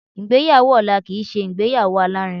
Ìgbéyàwó ọ̀la kìí ṣe ìgbéyàwó alárinrin.